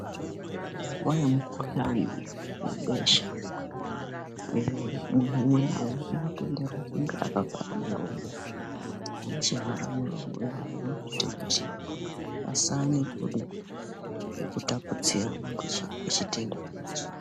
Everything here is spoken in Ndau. Munguwa yemukuhlani webesha munhu umwe naumwe unotenderwa kunge akavhara muromo. Chivhara muromo chinoite kuti pasaa nekudini nekutapudzirana kwechitenda ichi.